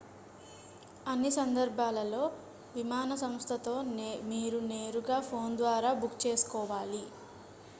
అన్ని సందర్భాలలో విమాన సంస్థతో మీరు నేరుగా ఫోన్ ద్వారా బుక్ చేసుకోవాలి